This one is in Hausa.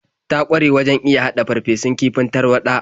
Ta ƙware wajen iya haɗa farfesun kifin tarwaɗa.